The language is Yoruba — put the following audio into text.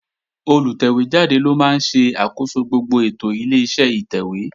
Olùtẹ̀wé jáde ló máa ń ṣe àkóso gbogbo ètò Ileṣẹ́ ìtẹ̀wé